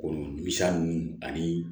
Kɔnɔ misa nunnu ani